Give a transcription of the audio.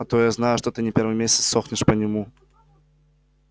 а то я знаю что ты не первый месяц сохнешь по нему